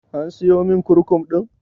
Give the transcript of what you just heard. An siyomin kurkum ɗin?